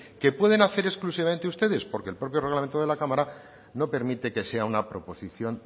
que pueden hacer exclusivamente ustedes porque el propio reglamento de la cámara no permite que sea una proposición